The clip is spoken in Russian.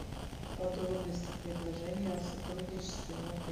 подробности предложения о сотрудничестве в отеле